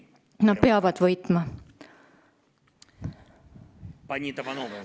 Nad peavad võitma.